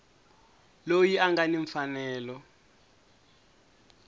loyi a nga ni mfanelo